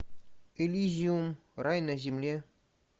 элизиум рай на земле